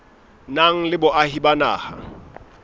nang le boahi ba naha